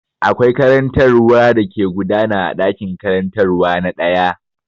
Akwai karantarwa da ke gudana a ɗakin karantarwa na ɗaya.